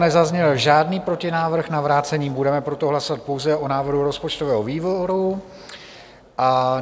Nezazněl žádný protinávrh na vrácení, budeme proto hlasovat pouze o návrhu rozpočtového výboru.